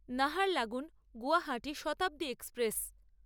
Naharlagun Guwahati Shatabdi express